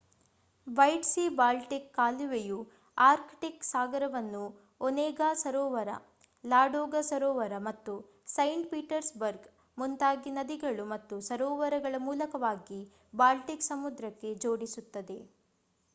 white Sea Baltic ಕಾಲುವೆಯು Arctic ಸಾಗರವನ್ನು Onega ಸರೋವರ ಲಾಡೋಗಾ ಸರೋವರ ಮತ್ತು ಸೈಂಟ್ ಪೀಟರ್ಸ್ಬರ್ಗ್ ಮುಂತಾಗಿ ನದಿಗಳು ಮತ್ತು ಸರೋವರಗಳ ಮೂಲಕವಾಗಿ ಬಾಲ್ಟಿಕ್ ಸಮುದ್ರಕ್ಕೆ ಜೋಡಿಸುತ್ತದೆ